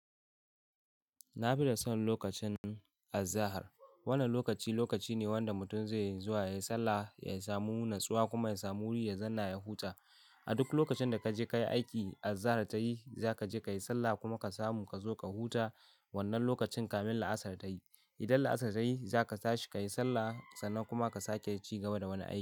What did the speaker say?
Na fi son lokacin azahar. Wannan lokaci lokaci ne wanda mutum zaije ya yi sallah, ya samu natsuwa kuma ya samu wuri ya zanna ya huta. A duk lokacin da ka je ka yi aiki, azahar ta yi, za ka je ka yi sallah kuma ka samu ka zo ka huta wannan lokacin kamin la'asar ta yi. Idan la'asar ta yi, za ka tashi ka yi sallah sannan kuma ka sake ci gaba da wani aiki.